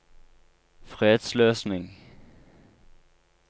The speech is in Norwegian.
fredsløsning